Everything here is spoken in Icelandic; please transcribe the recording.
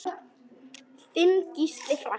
Þinn Gísli Frank.